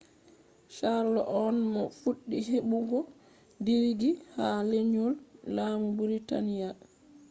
charles on mo fuɗɗi heɓɓugo digiri ha lenyol lamu britania